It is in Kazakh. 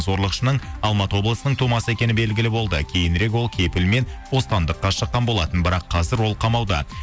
зорлықшының алматы облысының тумасы екені белгілі болды кейінірек ол кепілмен бостандыққа шыққан болатын бірақ қазір ол қамауда